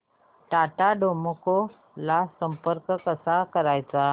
Tata Docomo ला संपर्क कसा करायचा